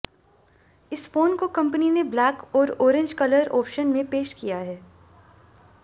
इस फोन को कंपनी ने ब्लैक और ऑरेंज कलर ऑप्शन में पेश किया है